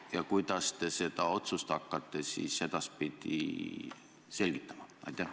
Ja kuidas te seda otsust hakkate siis edaspidi selgitama?